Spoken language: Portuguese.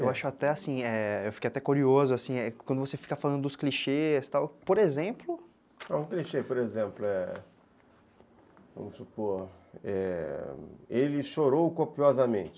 Eu acho até assim, é... eu fiquei até curioso, quando você fica falando dos clichês e tal, por exemplo... Um clichê, por exemplo, vamos supor, é, ele chorou copiosamente.